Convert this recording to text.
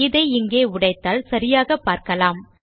இதை இங்கே உடைத்தால் சரியாக பார்க்கலாம்